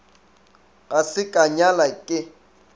ga se ka nyala ke